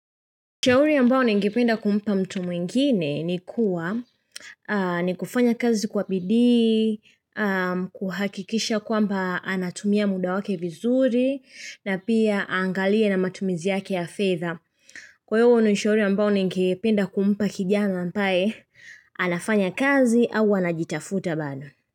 Ushauri ambao ni ngependa kumpa mtu mwingine ni kuwa ni kufanya kazi kwa bidii, kuhakikisha kwamba anatumia muda wake vizuri na pia aangalie na matumizi yake ya fedha. Kwa hiyo niushauri ambao ni ngependa kumpa kijama ambaye, anafanya kazi au anajitafuta bado.